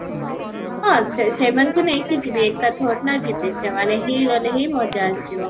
ହଁ, ସେ ସେମାନଙ୍କୁ ନେଇକି ଯିବି ଏକା ନା ଯିବି, ସେମାନେ ହିଁ ଗଲେ ହିଁ ମଜା ଆସିବ